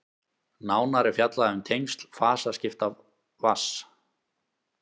nánar er fjallað um tengsl fasaskipta vatns